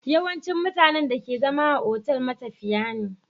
Yawancin mutanen da ke zama a otal matafiya ne